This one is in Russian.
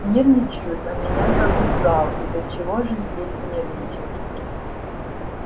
нервничают а меня зовут гаал из-за чего же здесь нервничать